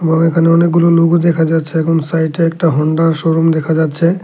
এবং এখানে অনেকগুলো লোগো দেখা যাচ্ছে এবং সাইটে একটা হন্ডার শোরুম দেখা যাচ্ছে।